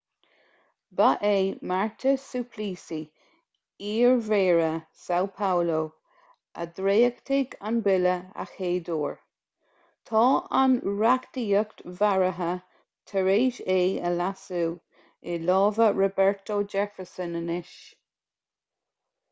ba é marta suplicy iarmhéara são paulo a dhréachtaigh an bille a chéaduair. tá an reachtaíocht bheartaithe tar éis é a leasú i lámha roberto jefferson anois